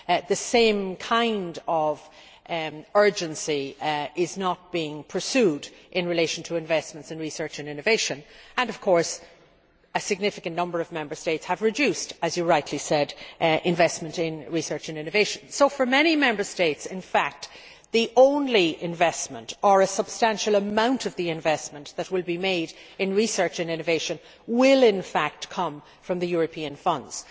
the same kind of urgency is not being pursued in relation to investments in research and innovation. Of course, a significant number of Member States have reduced, as was rightly said, investment in research and innovation. So in fact for many Member States the only investment, or a substantial amount of the investment, that will be made in research and innovation will come from the European funds.